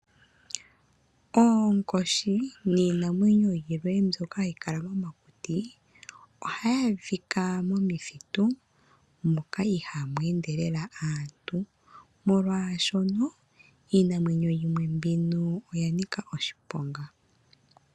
Oonkoshi niinamwenyo yilwe mbyoka hayi kala momakuti, ohayi adhika momithitu moka ihaamu ende lela aantu, molwaashono iinamwenyo yimwe mbino oya nika oshiponga.